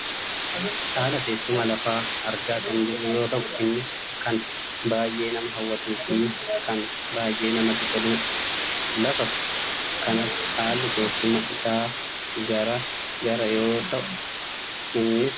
haala teessuma lafaa argaa kan jirru yoo ta'u innis kan baayyee nama hawwatuufi kan baayyee namatti toludha. lafa kanatti haalli teessuma isaa gara gara yoo ta'u innis lafa olkahaa fi diriiraadha.